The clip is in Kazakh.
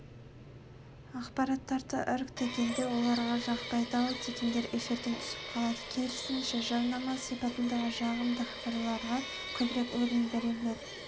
ақпараттарды іріктегенде оларға жақпайды-ау дегендер эфирден түсіп қалады керісінше жарнама сипатындағы жағымды хабарларға көбірек орын беріледі